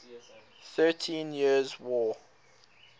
thirteen years war